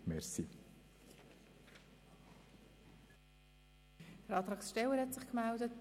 Der Antragssteller hat sich gemeldet.